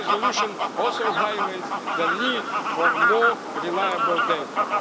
Today's resolution also highlights the need for more reliable